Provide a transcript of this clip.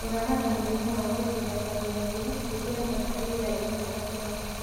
Kũramata mũrimũ wa gũbutha kalimainĩ, ĩkila batalaita ina cashiamu